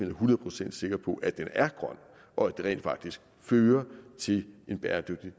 er hundrede procent sikker på at den er grøn og at den rent faktisk fører til en bæredygtig